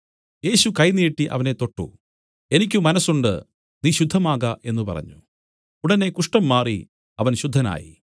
യേശു കൈ നീട്ടി അവനെ തൊട്ടു എനിക്ക് മനസ്സുണ്ട് നീ ശുദ്ധമാക എന്നു പറഞ്ഞു ഉടനെ കുഷ്ഠം മാറി അവൻ ശുദ്ധനായി